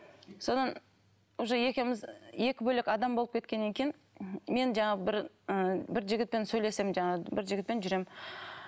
содан уже екеуміз екі бөлек адам болып кеткеннен кейін мен жаңағы бір ы бір жігітпен сөйлесемін жаңағы бір жігітпен жүремін